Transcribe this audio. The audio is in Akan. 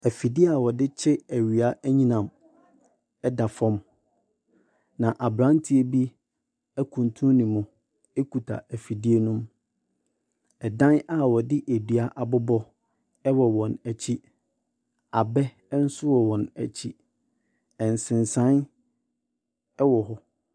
Efidie a wɔde kye ewia ɛnyenam ɛda fɔm na aberanteɛ bi ekuntuu ne mu ekuta efidie no. Ɛdan a wɔde edua abobɔ ɛwɔ wɔn ekyi, abɛ nso wɔ wɔn ekyi, nsesan ɛwɔ hɔ.